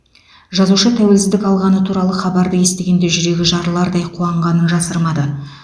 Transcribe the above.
жазушы тәуелсіздік алғаны туралы хабарды естігенде жүрегі жарылардай қуанғанын жасырмады